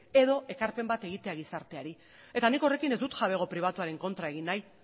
edo ekarpen bat egitea gizarteari eta nik horrekin ez dut jabego pribatuaren kontra egin nahi